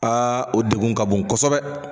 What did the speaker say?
Aa o degun ka bon kosɛbɛ.